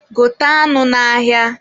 Gote anụ n'ahịa.